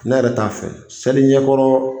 Ne yɛrɛ t'a fɛ seli ɲɛkɔrɔ